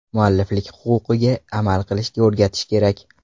Mualliflik huquqiga amal qilishga o‘rgatish kerak.